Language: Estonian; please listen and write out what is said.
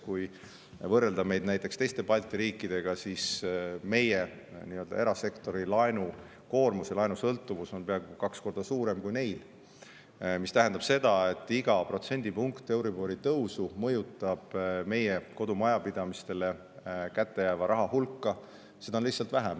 Kui võrrelda meid näiteks teiste Balti riikidega, on meie erasektori laenukoormus ja laenusõltuvus peaaegu kaks korda suurem kui neil, mis tähendab seda, et iga protsendipunktine euribori tõus mõjutab meie kodumajapidamistele kätte jääva raha hulka, seda on lihtsalt vähem.